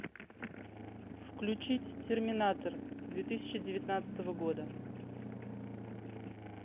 включить терминатор две тысячи девятнадцатого года